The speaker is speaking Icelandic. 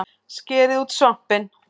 Skerið út svampinn